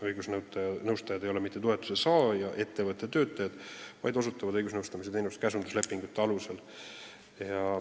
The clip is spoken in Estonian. Õigusnõustajad ei ole mitte toetust saava ettevõtte töötajad, vaid osutavad õigusnõustamise teenust käsunduslepingute alusel.